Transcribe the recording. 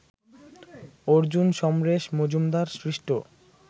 অর্জুন, সমরেশ মজুমদার সৃষ্ট